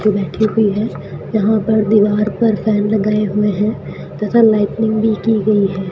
वो बैठी हुई है। यहां पर दीवार पर फैन लगाए हुए हैं तथा लाइटनिंग भी की गई है।